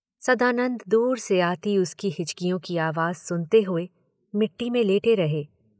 सदानंद दूर से आती उसकी हिचकियों की आवाज सुनते हुए मिट्टी में लेटे रहे।